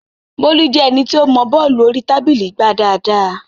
Bólú jẹ́ ẹni tí ó mọọ bọ́ọ̀lù orí tábìlì gbá dáadáa